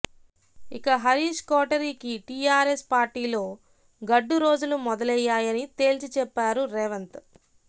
ఇక హరీశ్ కోటరీకి టీఆర్ఎస్ పార్టీలో గడ్డురోజులు మొదలయ్యాయని తేల్చిచెప్పారు రేవంత్